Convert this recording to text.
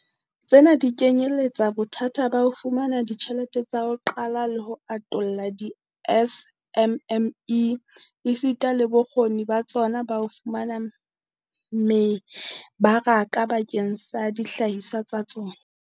Tsena di kenyeletsa bothata ba ho fumana ditjhelete tsa ho qala le ho atolla di-SMME, esita le bokgoni ba tsona ba ho fumana mebaraka bakeng sa dihlahiswa tsa tsona.